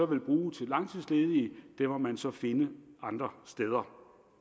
vil bruge til langtidsledige må man så finde andre steder